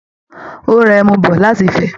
Ó ra ẹmu bọ̀ láti Ifẹ̀